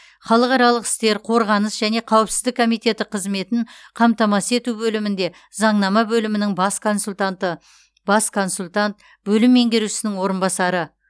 халықаралық істер қорғаныс және қауіпсіздік комиеті қызметін қамтамасыз ету бөлімінде заңнама бөлімінің бас консультанты бас консультант бөлім меңгерушісінің орынбасары